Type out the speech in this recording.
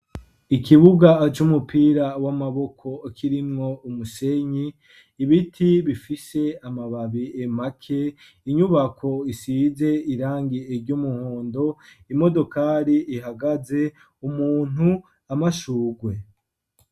Ikibuga c'umupira w'amaboko kirimwo umusenyi ibiti bifise amababi make inyubako isize irangi ry'umuhondo, imodokari ihagaze, umuntu, amashugwe.